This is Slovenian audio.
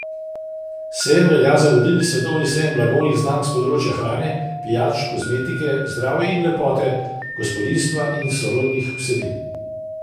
Sejem velja za vodilni svetovni sejem blagovnih znamk s področja hrane, pijač, kozmetike, zdravja in lepote, gospodinjstva in sorodnih vsebin.